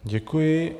Děkuji.